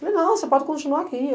Falei, não, você pode continuar aqui.